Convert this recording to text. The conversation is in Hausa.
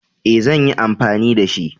E, zan yi anfani da shi.